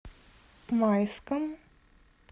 майском